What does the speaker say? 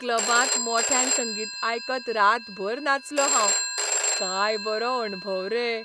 क्लबांत मोठ्यान संगीत आयकत रातभर नाचलों हांव . काय बरो अणभव रे.